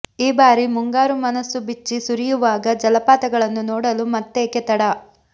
ಈ ಬಾರಿ ಮುಂಗಾರು ಮನಸ್ಸುಬಿಚ್ಚಿ ಸುರಿಯುವಾಗ ಜಲಪಾತಗಳನ್ನು ನೋಡಲು ಮತ್ತೇಕೆ ತಡ